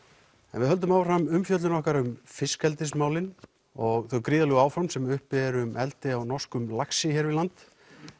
en við höldum áfram umfjöllun okkar um og þau gríðarlegu áform sem uppi eru um eldi á norskum laxi hér við land